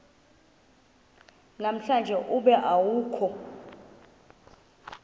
namhlanje ube awukho